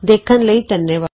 ਸ਼ਾਮਲ ਹੋਣ ਲਈ ਧੰਨਵਾਦ